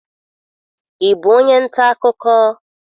Ị bụ onye nta akụkọ?